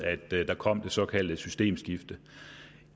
at der kom det såkaldte systemskifte